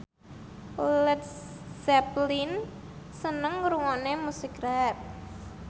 Led Zeppelin seneng ngrungokne musik rap